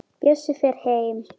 Bjössi fer heim.